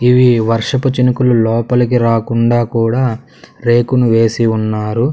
ఇవి వర్షపు చినుకులు లోపలికి రాకుండా కూడా రేకును వేసి ఉన్నారు.